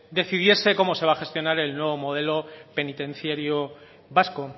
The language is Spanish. decidiese cómo se va a gestionar el nuevo modelo penitenciario vasco